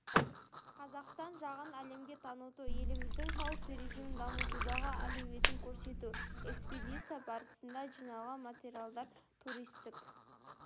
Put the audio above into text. қазақстан жағын әлемге таныту еліміздің тау туризмін дамытудағы әлеуетін көрсету экспедиция барысында жиналған материалдар туристік